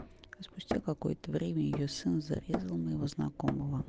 а спустя какое-то время её сын зарезал моего знакомого